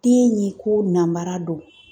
Den ɲi ko namara dɔ.